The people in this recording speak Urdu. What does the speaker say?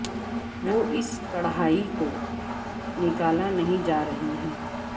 وہ اس کڑھائی کو نکالا نہیں جا رہی ہے